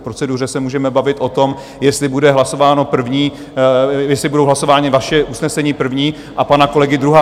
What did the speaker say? V proceduře se můžeme bavit o tom, jestli budou hlasována vaše usnesení první a pana kolegy druhá.